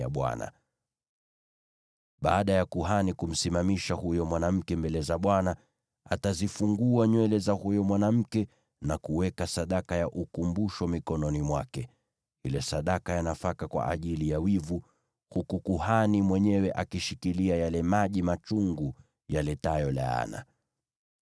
Baada ya kuhani kumsimamisha huyo mwanamke mbele za Bwana , atazifungua nywele za huyo mwanamke na kuweka sadaka ya ukumbusho mikononi mwake, ile sadaka ya nafaka kwa ajili ya wivu, huku kuhani mwenyewe akishikilia yale maji machungu yaletayo laana.